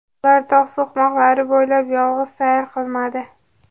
Ular tog‘ so‘qmoqlari bo‘ylab yolg‘iz sayr qilmadi.